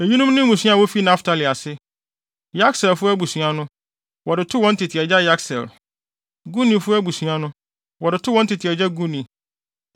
Eyinom ne mmusua a wofi Naftali ase: Yakseelfo abusua no, wɔde too wɔn tete agya Yakseel; Gunifo abusua no, wɔde too wɔn agya Guni;